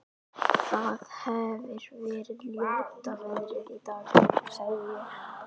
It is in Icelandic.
Það hefir verið ljóta veðrið í dag- sagði ég.